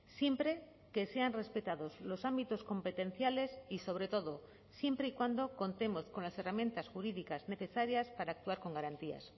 siempre que sean respetados los ámbitos competenciales y sobre todo siempre y cuando contemos con las herramientas jurídicas necesarias para actuar con garantías